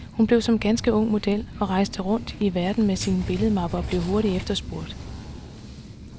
Hun blev som ganske ung model og rejste rundt i verden med sin billedmappe, og blev hurtigt efterspurgt.